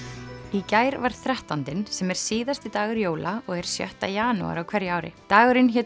í gær var þrettándinn sem er síðasti dagur jóla og er sjötta janúar á hverju ári dagurinn hét